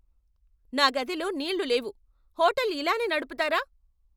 నా గదిలో నీళ్లు లేవు! హోటల్ ఇలానే నడుపుతారా?